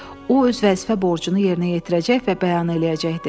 O öz vəzifə borcunu yerinə yetirəcək və bəyan eləyəcəkdi.